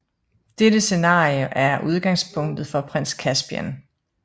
Dette scenarie er udgangspunktet for Prins Caspian